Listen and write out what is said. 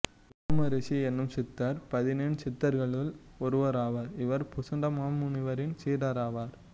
உரோமரிஷி எனும் சித்தர் பதினெண் சித்தர்களுள் ஒருவராவார் இவர் புசுண்ட மாமுனிவரின் சீடராவார்